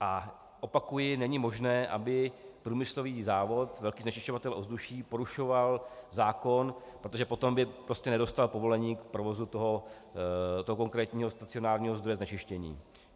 A opakuji, není možné, aby průmyslový závod, velký znečišťovatel ovzduší, porušoval zákon, protože potom by prostě nedostal povolení k provozu toho konkrétního stacionárního zdroje znečištění.